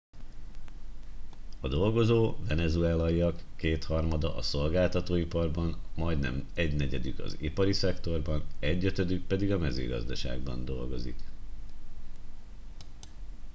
a dolgozó venezuelaiak kétharmada a szolgáltatóiparban majdnem egynegyedük az ipari szektorban egyötödük pedig a mezőgazdaságban dolgozik